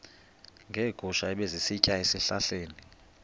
neegusha ebezisitya ezihlahleni